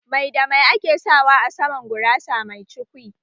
Mai da mai ake sawa a saman gurasa mai cukwi?